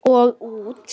Og út.